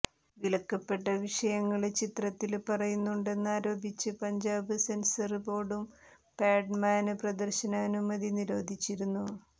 വിലക്കപ്പെട്ട വിഷയങ്ങള് ചിത്രത്തില് പറയുന്നുണ്ടെന്ന് ആരോപിച്ച് പഞ്ചാബ് സെന്സര് ബോര്ഡും പാഡ്മാന് പ്രദര്ശനാനുമതി നിരോധിച്ചിരുന്നു